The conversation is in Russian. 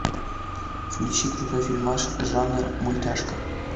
включи крутой фильмас жанр мультяшка